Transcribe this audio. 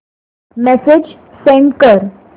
message send कर